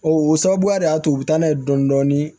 O o sababuya de y'a to u bɛ taa n'a ye dɔɔnin dɔɔnin